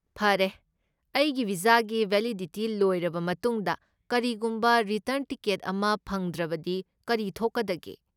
ꯐꯔꯦ, ꯑꯩꯒꯤ ꯚꯤꯖꯥꯒꯤ ꯕꯦꯂꯤꯗꯤꯇꯤ ꯂꯣꯏꯔꯕ ꯃꯇꯨꯡꯗ ꯀꯔꯤꯒꯨꯝꯕ ꯔꯤꯇꯔꯟ ꯇꯤꯀꯦꯠ ꯑꯃ ꯐꯪꯗ꯭ꯔꯕꯗꯤ ꯀꯔꯤ ꯊꯣꯛꯀꯗꯒꯦ?